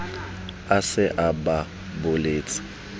a se a ba buletse